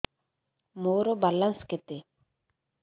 ମୋର ବାଲାନ୍ସ କେତେ